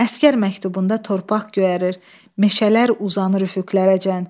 Əsgər məktubunda torpaq göyərər, meşələr uzanır üfüqlərəcən.